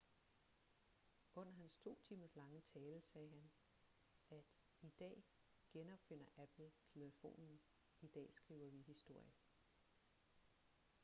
under hans to timers lange tale sagde han at i dag genopfinder apple telefonen i dag skriver vi historie